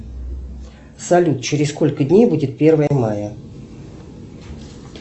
салют через сколько дней будет первое мая